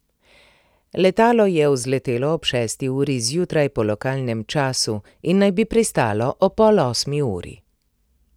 Letalo je vzletelo ob šesti uri zjutraj po lokalnem času in naj bi pristalo ob pol osmi uri.